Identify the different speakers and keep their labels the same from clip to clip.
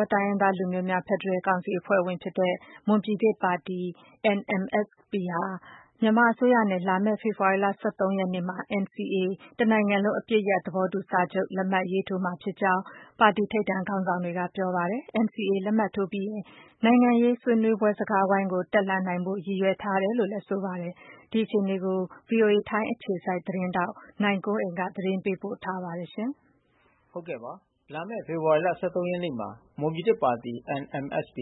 Speaker 1: ောတိုင်းရင်းသား လူမျိုးများ ဖက်ဒရယ်ကောင်စီအဖွဲ့ဝင်ဖြစ်တဲ့ မွန်ပြည်သစ်ပါတီ ၊ဟာ မြန်မာအစိုးရနဲ့ လာမယ့်ဖေဖေါ်ဝါရီ ရက်နေ့မှာ NCAအပစ်ရပ်သဘောတူစာချုပ်လက်မှတ်ရေးထိုးသွားမယ်လို့ ပါတီ ထိပ်တန်းခေါင်းဆောင်တွေကပြောပါတယ်။ NCAလက်မှတ်ထိုးပြီးရင် နိုင်ငံရေးဆွေးနွေးပွဲစကားဝိုင်းကို တက်လှမ်း နိုင်ဖို့ ရည်ရွယ်ထားတယ်လို့ဆိုပါတယ်။ ဒီအခြေအနေကို ဗွီအိုအေထိုင်းအခြေစိုက်သတင်းထောက် နိုင်ကွန်းအိန်ကနေ သတင်းပေးပို့ထားပါတယ်။
Speaker 2: လာမယ့် ဖေဖေါ်ဝါရီ ရက်နေ့မှာ မွန်ပြည်သစ်ပါတီ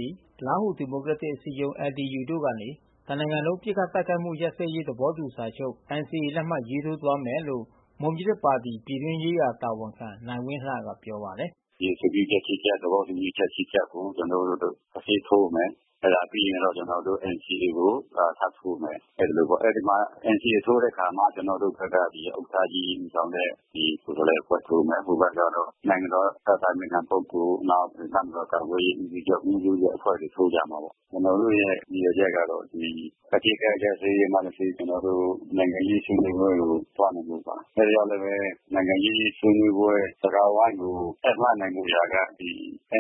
Speaker 2: ၊ လားဟူဒီမိုကရက်တစ်အစည်းအရုံး တို့ ကနေ တစ်နိုင်ငံလုံး ပစ်ခတ်တိုက်ခိုက်မှုရပ်စဲရေးသဘောတူစာချုပ် လက်မှတ်ရေးထိုးသွားမယ်လို့ မွန်ပြည်သစ်ပါတီ ပြည်တွင်းရေးရာတာဝန်ခံနိုင်ဝင်းလှကပြောပါတယ်
Speaker 1: ။ "ဒီအဆိုပြုချက် ချက် သဘောတူညီမှု ချက်ကို ကျွန်တော်တို့တဆင့်ထိုးမယ်။ အဲတာပြီးရင်တော့ကျွန်တော်တို့ NCA ကိုထပ်ထိုးမယ်။ NCAထိုးတဲ့အခါမှာ ကျွန်တော်တို့ဘက်က ဥက္ကဌကြီးဦးဆောင်တဲ့ကိုယ်စားလှယ်အဖွဲ့ထိုးမယ်။ ဟိုဘက်ကတော့နိုင်ငံတော်အတိုင်ပင်ခံပုဂ္ဂိုလ် နောက်တပ်မတော်ကာကွယ်ရေးဦးစီးချုပ် ဦးစီးတဲ့အဖွဲ့တွေထိုးကြမှာပေါ့။ ကျွန်တော်တို့ရဲ့ရည်ရွယ်ချက်ကတော့ အပစ်ခတ်ရပ်စဲရေးမှတဆင့် နိုင်ငံရေးဆွေးနွေးပွဲကိုသွားနိုင်ဖို့ပါ။ အဲတာ ကြောင့် လဲဘဲ နိုင်ငံရေးဆွေးနွေးပွဲစကားဝိုင်းကို တက်လှမ်းနိုင်ဖို့ရာက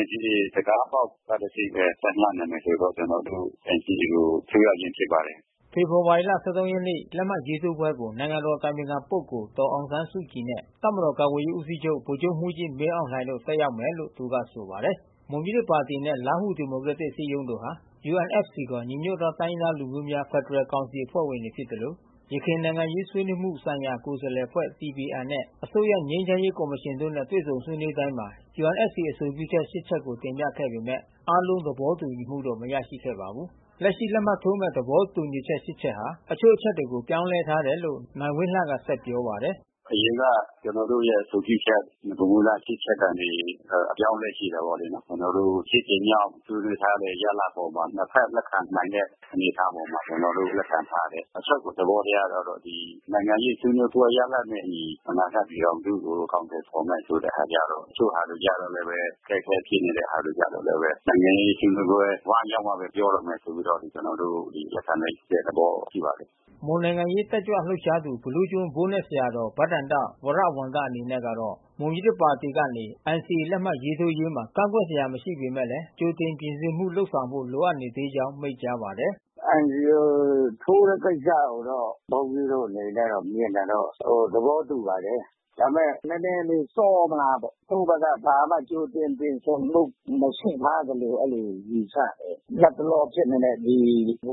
Speaker 1: NCAတံခါးပေါက်ကတဆင့်ဘဲ တက်လှမ်းနိုင်မယ်ဆို တော့ ကျွန်တော်တို့NCAကိုထိုးရခြင်းဖြစ်ပါတယ်။
Speaker 2: " ဖေဖေါ်ဝါရီ ၁၃ ရက်နေ့ လက်မှတ်ထိုးပွဲကို နိုင်ငံတော်အတိုင်ပင်ခံပုဂိုလ် ဒေါ်အောင်ဆန်းစုကြည်နဲ့ တပ်မတော် ကာကွယ်ရေးဦးစီးချုပ် ဗိုလ်ချုပ်မှူးကြီး မင်းအောင်လှိုင်တို့ တက်ရောက်မယ်လို့သူကဆိုပါတယ်။ မွန်ပြည်သစ်ပါတီနဲ့လားဟူဒီမိုကရက်တစ်အစည်းအရုံးတို့ဟာ UNFCခေါ် ညီညွတ်သောတိုင်းရင်းသား လူမျိုးများ ဖက်ဒရယ်ကောင်စီအဖွဲ့ဝင်တွေဖြစ်သလို ယခင်နိုင်ငံရေးဆွေးနွေးမှု ဆိုင်ရာကိုယ်စားလှယ်အဖွဲ့ နဲ့ အစိုးရ ငြိမ်းချမ်းရေးကော်မရှင်တို့နဲ့တွေ့ဆုံဆွေးနွေးတိုင်းမှာ UNFCအဆိုပြုချက် ချက်ကိုတင်ပြခဲ့ပေမဲ့ အားလုံး သဘောတူညီ မှုမရရှိခဲ့ပါဘူး။ လက်ရှိလက်မှတ်ထိုးမဲ့သဘောတူညီချက် ချက်ဟာ တချို့အချက်တွေကိုပြောင်းလဲထားတယ်လို့ နိုင်ဝင်းလှက ပြောပါတယ်။ "
Speaker 1: အရင်က ကျွန်တော်တို့ရဲ့အဆိုပြုချက် နဂိုမူလ ချက်ကနေ အပြောင်းအလဲရှိတယ်ပေါ့လေနော်။ ကျွန်တော်တို့ ကြိမ်မြောက်ဆွေးနွေးထားတဲ့ရလဒ် အပေါ်မှာ နှစ်ဖက်လက်ခံနိုင်တဲ့အနေအထားအပေါ်မှာ ကျွန်တော်တို့လက်ခံ ထား တယ်။ အချုပ်သဘောတရားကတော့ နိုင်ငံရေးဆွေးနွေးပွဲရလဒ်နဲ့အညီ အနာဂတ်ပြည်ထောင်စုကို အကောင်အထည် ဖေါ်မယ့်ဆိုတဲ့ဟာကျတော့ တချို့ဟာတွေကျတော့ အခက်ခဲဖြစ်နေတဲ့ဟာတွေကျတော့ နိုင်ငံရေးဆွေးနွေးပွဲဝိုင်း ရောက်မှဘဲပြောတော့မယ်ဆိုပြီးတော့ ကျွန်တော်တို့လက်ခံလိုက်တဲ့သဘောရှိပါတယ်။"
Speaker 2: မွန်နိုင်ငံရေးတက်ကြွလှုပ်ရှားသူ ဘီလူးကျွန်းဘိုးနက်ဆရာတော် ဘဒ္ဒန္တ ဝရဝံသအနေနဲ့ကတော့ မွန်ပြည်သစ်ပါတီ ကနေ NCAလက်မှတ်ရေးထိုးရေးမှာ ကန့်ကွက်စရာမရှိပေမဲ့ ကြိုတင်ပြင်ဆင်မှုလုပ်ဆောင်ဖို့ လိုအပ်နေသေးကြောင်း မိန့်ကြားပါတယ်
Speaker 3: ။ "NCAထိုးတဲ့ ကိစ္စကိုတော့ ဘုန်းကြီးတို့အနေနဲ့မြင်တာတော့ သဘောတူပါတယ်။ ဒါပေမဲ့နဲနဲလေး စောမလားပေါ့။ ကိုယ့် ဘက်က ဘာမှကြိုတင်ပြင်ဆင်မှုမရှိထားသလို အဲဒီလိုယူဆတယ်။ လတ်တလောဖြစ်နေတဲ့ ဘု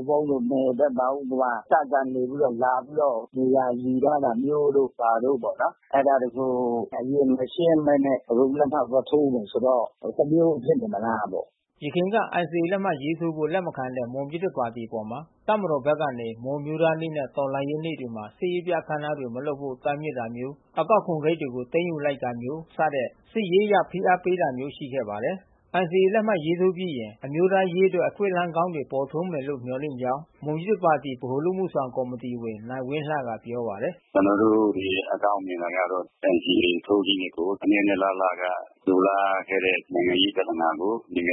Speaker 3: န်းဘုန်းတို့နယ်ဘက်မှာ ဥပမာ တပ်ကနေပြီးတော့ လာပြီးတော့နေရာယူထားတာမျိုးတို့ဘာတို့ပေါ့နော်။ အဲတာတွေကိုအရင်မရှင်းဘဲနဲ့ အခု လက်မှတ်သွားထိုးမယ်ဆိုတော့ တမျိုးဖြစ်နေမလား
Speaker 2: ပေါ့။" ယခင် NCAလက်မှတ်ထိုးဖို့လက်မခံတဲ့ မွန်ပြည်သစ်ပါတီအပေါ် တပ်မတော်ဘက်ကနေ မွန်အမျိုးသားနေ့နဲ့ မွန်တော်လှန်ရေးနေ့တွေမှာ စစ်ရေးပြအခန်းအနားမလုပ်ဖို့တားမြစ်တာမျိုး အကောက်ခွန်ဂိတ်တွေကို သိမ်းယူလိုက်တာမျိုး စတဲ့ စစ်ရေးအရဖိအားပေးတာမျိုးရှိခဲ့ပါတယ်။ လက်မှတ်ရေးထိုးပြီးရင် အမျိုးသားရေးအတွက် အခွင့်အလမ်းကောင်းတွေပေါ်ထွန်းမယ်လို့မျှော်လင့်ကြောင်း မွန်ပြည်သစ်ပါတီဗဟိုအလုပ်အမှုဆောင်ကော်မီတီဝင် နိုင်ဝင်းလှကပြောပါတယ်။
Speaker 1: "ကျွန်တော်တို့အကောင်းမြင်တာကတော့ NCAထိုးခြင်းဖြင့်ကို အနှစ်နှစ်အလလက လိုလားခဲ့တဲ့ နိုင်ငံရေးပြဿနာကို နိုင်ငံရ